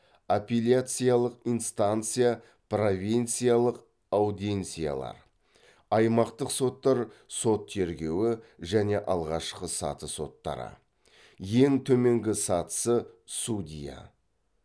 апеляциялық инстанция провинциялық аудиенсиялар аймақтық соттар сот тергеуі және алғашқы саты соттары ең төменгі сатысы судья